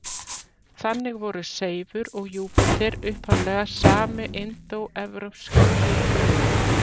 Þannig voru Seifur og Júpíter upphaflega sami indóevrópski guðinn.